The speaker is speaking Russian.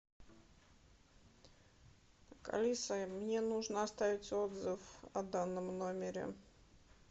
алиса мне нужно оставить отзыв о данном номере